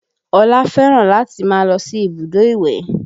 Ọlá fẹ́ràn láti máa lọ sí ibùdó ìwẹ̀